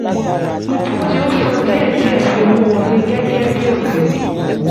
ọjà tí ó san díẹ̀diẹ̀ fi owó wọlé gẹ́gẹ́ bí òdiwọ̀n.